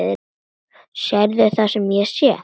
Sérðu það sem ég sé?